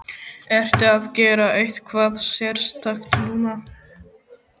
Ertu að gera eitthvað sérstakt núna?